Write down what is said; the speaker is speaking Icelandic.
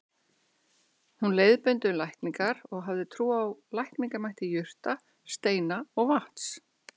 Hún leiðbeindi um lækningar og hafði trú á lækningamætti jurta, steina og vatns.